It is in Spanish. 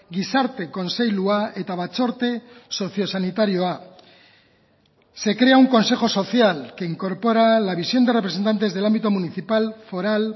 gizarte kontseilua eta batzorde sozio sanitarioa se crea un consejo social que incorpora la visión de representantes del ámbito municipal foral